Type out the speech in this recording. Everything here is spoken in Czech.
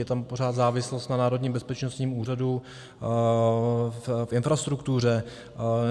Je tam pořád závislost na Národním bezpečnostním úřadu v infrastruktuře.